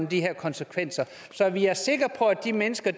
de her konsekvenser så vi er sikre på at de mennesker